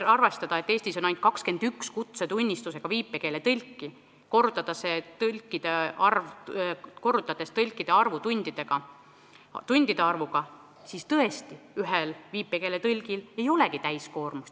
Kui arvestada, et Eestis on ainult 21 kutsetunnistusega viipekeeletõlki, korrutada see tõlkide arv tundide arvuga, siis selgub, et tõesti, ühel viipekeeletõlgil ei olegi täiskoormust.